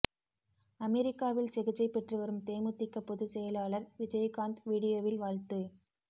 அமெரிக்காவில் சிகிச்சை பெற்று வரும் தேமுதிக பொதுச் செயலாளர் விஜயகாந்த் வீடியோவில் வாழ்த்து